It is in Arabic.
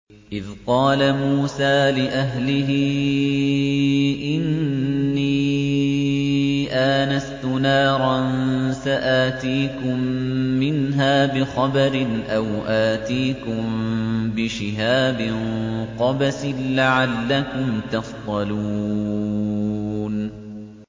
إِذْ قَالَ مُوسَىٰ لِأَهْلِهِ إِنِّي آنَسْتُ نَارًا سَآتِيكُم مِّنْهَا بِخَبَرٍ أَوْ آتِيكُم بِشِهَابٍ قَبَسٍ لَّعَلَّكُمْ تَصْطَلُونَ